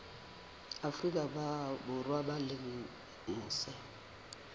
afrika borwa ba leng mose